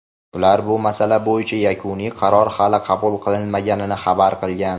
ular bu masala bo‘yicha yakuniy qaror hali qabul qilinmaganini xabar qilgan.